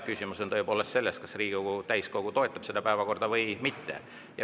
Küsimus on selles, kas Riigikogu täiskogu toetab sellist päevakorda või mitte.